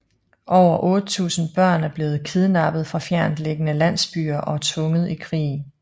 Over 8000 børn er blevet kidnappet fra fjerntliggende landsbyer og tvunget i krig